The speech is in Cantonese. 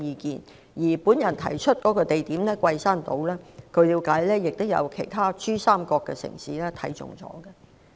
據了解，我提出的地點桂山島亦有其他珠三角城市看中。